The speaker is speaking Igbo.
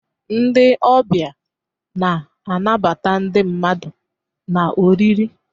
Ndị ọbịa na-anabata ndị mmadụ na oriri.